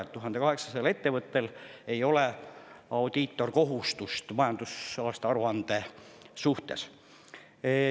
Ehk 1800 ettevõttel ei ole audiitorkontrolli tegemise kohustust majandusaasta aruande suhtes.